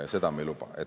Seda me ei luba.